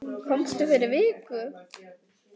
Komstu fyrir viku?